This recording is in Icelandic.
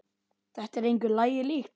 Þetta er engu lagi líkt.